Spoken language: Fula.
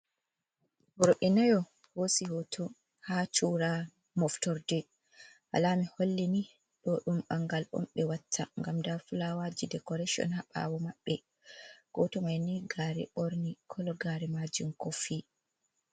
Worɓe nayo hosi hoto ha cura moftorde. alama holli ni ɗo ɗum bangal on ɓe watta gam dafulawaji decoration ha ɓawo maɓɓe, goto maini gare borni kologari majum kofi.